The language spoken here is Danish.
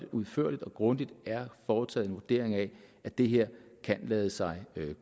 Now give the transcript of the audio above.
udførligt og grundigt er foretaget en vurdering af at det her kan lade sig